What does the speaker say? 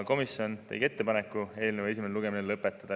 Komisjon tegi ettepaneku eelnõu esimene lugemine lõpetada.